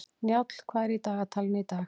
Njáll, hvað er í dagatalinu í dag?